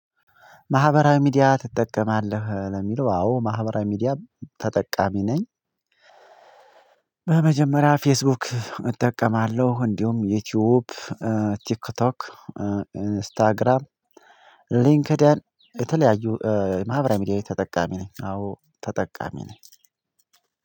ማህበራዊ ሚዲያ ትጠቀማለህ ለሚለው አዎ ማህበራዊ ሚዲያ ተጠቃሚ ነኝ። በመጀመሪያ ፌስቡክ እጠቀማለሁ እንዲሁም ዩቲዩብ ቲክቶክ ኢንስታግራም ሊንክድይን የተለያዩ ማህበራዊ ሚዲያ ተጠቃሚ ነኝ። አዎ ተጠቃሚ ነኝ።